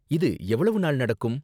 இது எவ்வளவ்வு நாள் நடக்கும்?